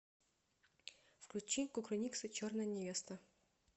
включи кукрыниксы черная невеста